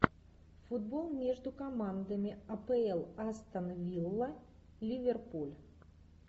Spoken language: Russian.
футбол между командами апл астон вилла ливерпуль